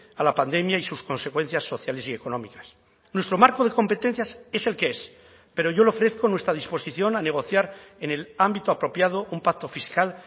a la pandemia y sus consecuencias sociales y económicas nuestro marco de competencias es el que es pero yo le ofrezco nuestra disposición a negociar en el ámbito apropiado un pacto fiscal